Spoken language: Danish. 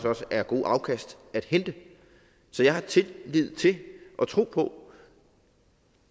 også er gode afkast at hente så jeg har tillid til og tro på